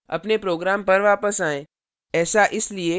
अपने program पर वापस आएं